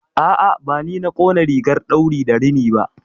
A'a, bani na ƙona rigar ɗauri da rini ba.